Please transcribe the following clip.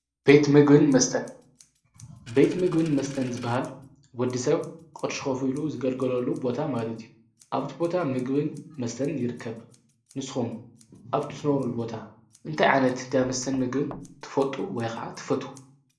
ቤት ምግብን መስተን ዝበሃል ወዲ ሰብ ቖሽኮፊኢሉ ዝገልገለሉ ቦታ ማግነት እዩ። ኣብቲ ቦታ ምግብን መስተን ይርከብ ንስኹም ኣብትነሩል ቦታ እንተ ዓነት ዳመስተን ምግርን ትፈልጡ ወይኸዓ ትፈ?